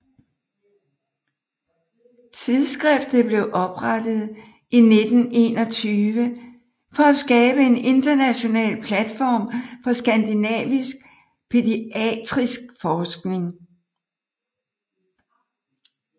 Tidsskriftet blev oprettet i 1921 for at skabe en international platform for skandinavisk pædiatrisk forskning